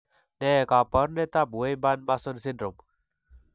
Ne kaabarunetap Wyburn Mason's syndrome?